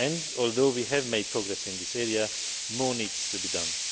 Although we have made progress in this area, more needs to be done.